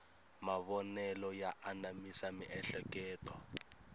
mavonelo ya anamisa miehleketo